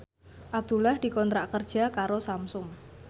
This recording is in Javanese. Abdullah dikontrak kerja karo Samsung